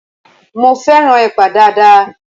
Mo fẹ́ràn Ẹ̀pà dáadáa